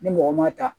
Ni mɔgɔ ma ta